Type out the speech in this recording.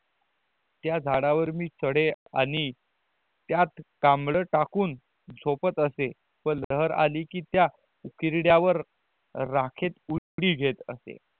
त्या झाडावर मी चड़े आणि त्यात कंबल टाकून पण लहर आली ली त्या उकहिरदयावर रखेत उकड़ित घेत असे